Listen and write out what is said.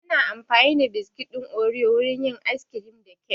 Ana amfani da biskit ɗin oriyo wurin yin ayis kirim da kek